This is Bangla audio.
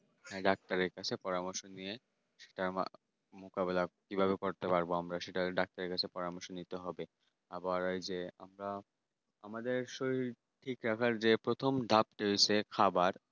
হ্যাঁ ডাক্তার এর কাছে পরামর্শ নিয়ে আমরা মোকাবেলা কি ভাবে করতে পারবো আমরা সেটা ডাক্তার এর কাছে পরামর্শ নিতে হবে আবার এই যে আমাদের শরীর ঠিক রাখার যে প্রথম ধাপ যে হচ্ছে খাবার